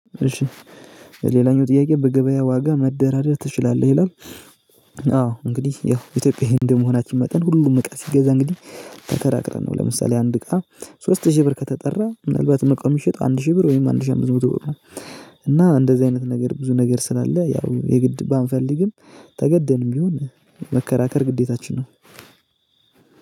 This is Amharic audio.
እሺ ሌላኛው ጥያቄ በገበያ ዋጋ መደራደር ትችላለህ ይላል? አዎ እንግዲ ያው ኢትዮጵያዊ እንደመሆናችን መጠን ሁሉም እቃ ሲገዛ እንግዲ ተከራክረን ነው። ለምሳሌ አንድ እቃ ሶስት ሺ ብር ከተጠራ ምናልባትም እቃው ሚሸጠው አንድ ሺ ብር ወይም አንድ ሺ አምስት መቶ ብር ነው። እና እንደዚ አይነት ነገር ብዙ ነገር ስላለ ያው የግድ ባንፈልግም ተገደንም ቢሆን መከራከር ግዴታችን ነው።